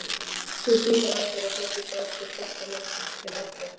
Við slíkar aðstæður eru flestir stærstu fossar landsins til orðnir.